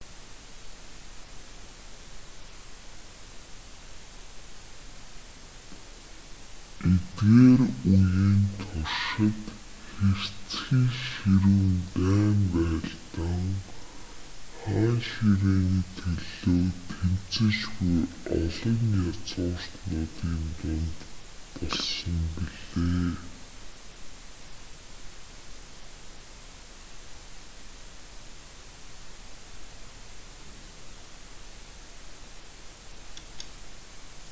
эдгээр үеийн туршид хэрцгий ширүүн дайн байлдаан хаан ширээний төлөө тэмцэж буй олон язгууртнуудын дунд болсон билээ